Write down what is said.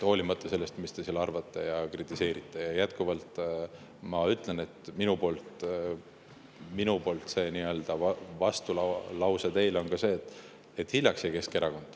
Olenemata sellest, mida te arvate ja mida te kritiseerite, ma jätkuvalt ütlen, et minu poolt see nii-öelda vastulause teile on see: Keskerakond jäi hiljaks.